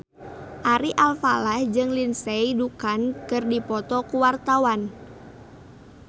Ari Alfalah jeung Lindsay Ducan keur dipoto ku wartawan